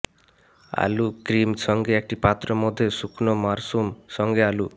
আলু ক্রিম সঙ্গে একটি পাত্র মধ্যে শুকনো মাশরুম সঙ্গে আলু